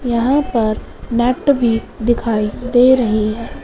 यहाँ पर नट भी दिखाइ दे रहे हैं।